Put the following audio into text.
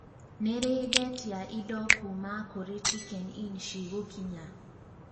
nĩ rĩ ndetia indo kuuma kũrĩ chiken inn cigũkinya